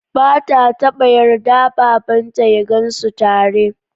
Ba ta taɓa yarda babanta ya gansu tare.